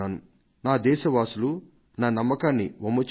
నా దేశ వాసులు నా నమ్మకాన్ని వమ్ము చేయలేదు